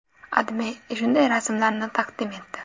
AdMe shunday rasmlarni taqdim etdi.